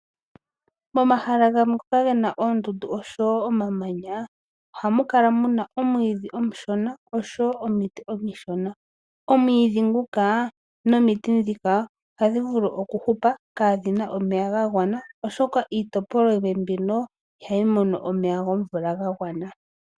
Momahala gamwe ngoka gena oondundu oshowo omamanya, ohamu kala muna omwiidhi omushona oshowo omiti omishona. Omwiidhi nguka nomiti ndhika ohadhi vulu okuhupa kaadhina omeya gagwana, oshoka iitopolwa yimwe mbino ihayi mono omeya gomvula gagwana.